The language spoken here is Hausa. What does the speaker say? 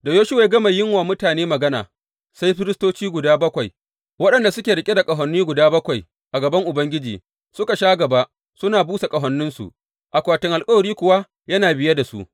Da Yoshuwa ya gama yin wa mutane magana, sai firistoci guda bakwai waɗanda suke riƙe da ƙahoni guda bakwai a gaban Ubangiji suka sha gaba suna busa ƙahoninsu, akwatin alkawari kuwa yana biye da su.